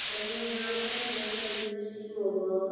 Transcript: लगे होअ यहाँ पर ने सर्विसिंग होवो हअ।